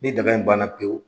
Ni daga in banna pewu